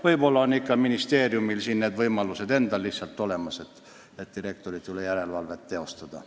Võib-olla on ministeeriumil juba olemas võimalus direktorite üle järelevalvet teostada.